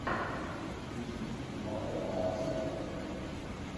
включи где снимался аарон экхарт